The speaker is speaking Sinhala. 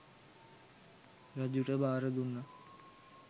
රජුට බාර දුන්නා.